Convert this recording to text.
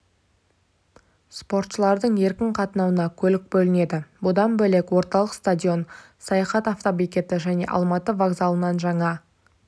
спортшылардың еркін қатынауына көлік бөлінеді бұдан бөлек орталық стадион саяхат автобекеті және алматы вокзалынан жаңа